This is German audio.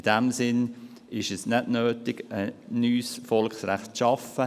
In diesem Sinne ist es nicht nötig, ein neues Volksrecht zu schaffen.